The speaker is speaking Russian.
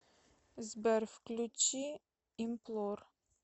сбер включи имплор